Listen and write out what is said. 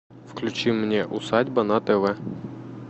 включи мне усадьба на тв